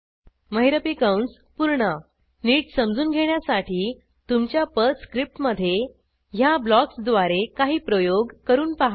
महिरपी कंस पूर्ण नीट समजून घेण्यासाठी तुमच्या पर्ल स्क्रिप्टमधे ह्या ब्लॉक्सद्वारे काही प्रयोग करून पहा